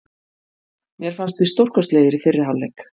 Mér fannst við stórkostlegir í fyrri hálfleik.